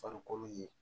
Farikolo ye